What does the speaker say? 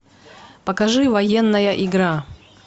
покажи военная игра